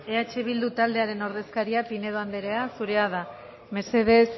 eh bildu taldearen ordezkaria pinedo anderea zurea da mesedez